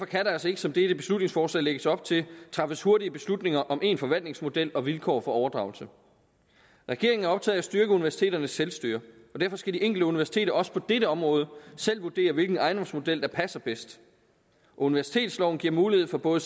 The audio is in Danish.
kan der altså ikke som dette beslutningsforslag lægger op til træffes hurtige beslutninger om én forvaltningsmodel og vilkår for overdragelse regeringen er optaget styrke universiteternes selvstyre og derfor skal det enkelte universitet også på dette område selv vurdere hvilken ejendomsmodel der passer bedst universitetsloven giver mulighed for både